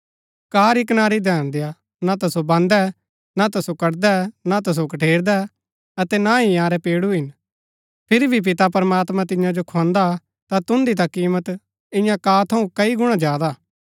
काऑ री कनारी धैन देआ ना ता सो बान्दै ना ता सो कटदै ना ता सो कठेरदै अतै ना ही इन्यारै पेडू हिन फिरी भी पिता प्रमात्मां तियां जो खुआन्दा ता तुन्दी ता कीमत इआं काऑ थऊँ कई गुणा ज्यादा हा